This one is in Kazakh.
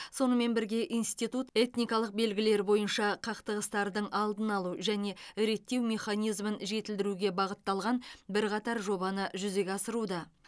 сонымен бірге институт этникалық белгілер бойынша қақтығыстардың алдын алу және реттеу механизмін жетілдіруге бағытталған бірқатар жобаны жүзеге асыруда